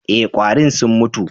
E, ƙwarin sun mutu.